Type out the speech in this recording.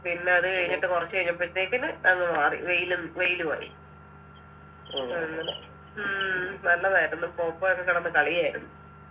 പിന്നെ അത് കഴിഞ്ഞിട്ട് കൊറച്ച് കഴിഞ്ഞപ്പോഴത്തെക്കിനു അങ് മാറി വെയിലും വെയിലു ആയി അങ്ങനെ ഉം നല്ലതായിരുന്നു പോപ്പോയൊക്കെ കിടന്ന് കളിയാരുന്നു